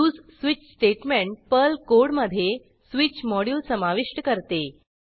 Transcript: उसे switch statement Perl कोडमधे switch module समाविष्ट करते